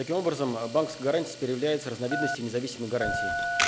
таким образом а банковской гарантией теперь является разновидностью независимой гарантии